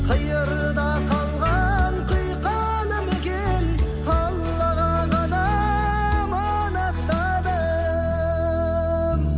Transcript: қиырда қалған құйқалы мекен аллаға ғана аманаттадым